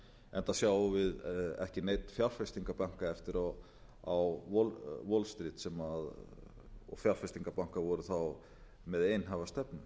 enda sjáum við ekki neinn fjárfestingarbanka eftir á wall street og fjárfestingarbanka voru þá með einhæfa stefnu